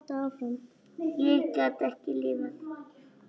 Hætta eða halda áfram?